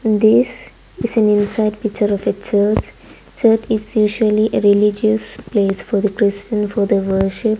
this is an inside picture of a church church is usually religious place for the christian for the worship.